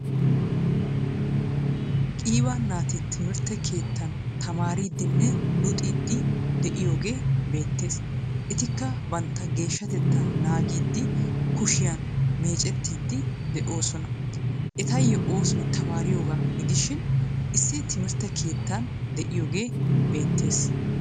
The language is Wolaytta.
Qiibaa naati timirtte keettan tamaaridinne luxxidi deiyoge betees. Etikka bantta geeshshaatetta naagidi kushshiyan meeccettidi deosona. Ettayo oosoy tamaariyoga gidishin issi timirttee keettan deiyoga beetees.